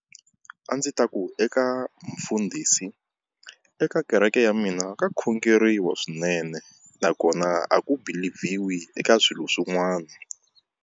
A ndzi ta ku eka mufundhisi eka kereke ya mina ka khongeriwa swinene, nakona a ku believe-vhiwi eka swilo swin'wana.